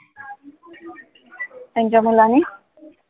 त्यांच्या मुलांनी?